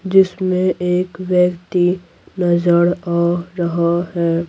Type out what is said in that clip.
जिसमें एक व्यक्ति नजर आ रहा है।